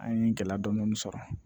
An ye gɛlɛya dɔɔni sɔrɔ